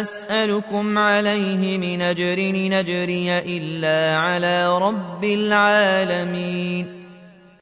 أَسْأَلُكُمْ عَلَيْهِ مِنْ أَجْرٍ ۖ إِنْ أَجْرِيَ إِلَّا عَلَىٰ رَبِّ الْعَالَمِينَ